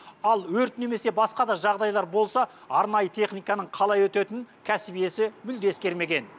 ал өрт немесе басқа да жағдайлар болса арнайы техниканың қалай өтетінің кәсіп иесі мүлде ескермеген